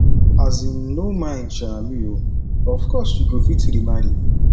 um no mind um me oo of course you go fit remarry